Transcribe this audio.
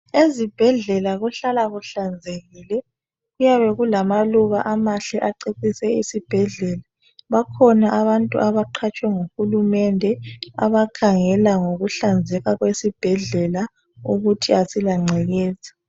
Ezibhedlela kuhlala kuhlanzekile .Kuyabe kulamaluba amahle acecise isibhedlela .Bakhona abantu abaqhatshwe nguhulumende abakhangela ngokuhlanzeka kwesibhedlela ukuthi asilancekeza.